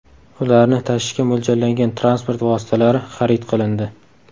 Ularni tashishga mo‘ljallangan transport vositalari xarid qilindi.